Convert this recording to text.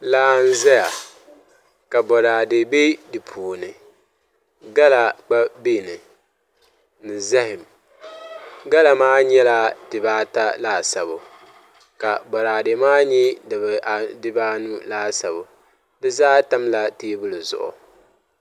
Laa n ʒɛya ka boraadɛ bɛ di puuni gala gba biɛni ni zaham gala maa nyɛla dibata laasabu ka boraadɛ maa nyɛ dibanu laasabu di zaa tamla teebuli zuɣu